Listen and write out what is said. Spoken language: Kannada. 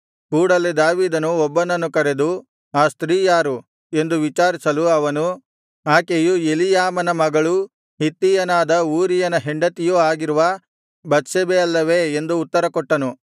ಕೂಡಲೆ ದಾವೀದನು ಒಬ್ಬನನ್ನು ಕರೆದು ಆ ಸ್ತ್ರೀ ಯಾರು ಎಂದು ವಿಚಾರಿಸಲು ಅವನು ಆಕೆಯು ಎಲೀಯಾಮನ ಮಗಳೂ ಹಿತ್ತಿಯನಾದ ಊರೀಯನ ಹೆಂಡತಿಯೂ ಆಗಿರುವ ಬತ್ಷೆಬೆ ಅಲ್ಲವೇ ಎಂದು ಉತ್ತರ ಕೊಟ್ಟನು